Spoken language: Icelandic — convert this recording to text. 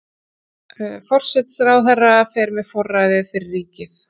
forsætisráðherra fer með forræðið fyrir ríkið